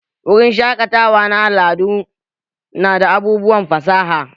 Wurin shaƙatawa na al'adu nada abubuwan fasaha